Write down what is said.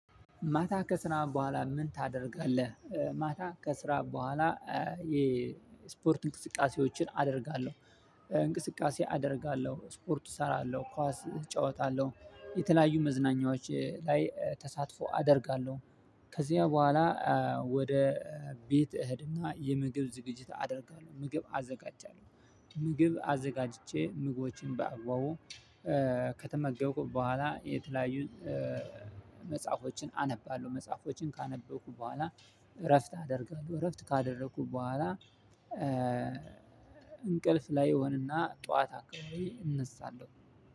ማታ ከስራ በኋላ ምን ታደርጋለህ? ማታ ከስራ በኋላ የስፖርት እንቅስቃሴዎችን አደርጋለሁ እንቅስቃሴ አደርጋለሁ ስፖርቱ እሰራለሁ ኳስ እጫወታለሁ የተለያዩ መዝናኛዎች ላይ ተሳትፎ አደርጋለሁ። ከዚያ በኋላ ወደ ቤት እህድና የምግብ ዝግጅት አደርጋለሁ ምግብ አዘጋጃለሁ። ምግብ አዘጋጅቼ ምግቦችን በአግባቡ ከተመገብኩ በኋላ የተለያዩን መጽሐፎችን አነባለሁ። መጽሐፎችን ካነበብኩ በኋላ እረፍት አደርጋለሁ። እረፍት ካደረኩ በኋላ እንቅልፍ ላይ እሆንና ጠዋት አካባቢ እነሳለሁ።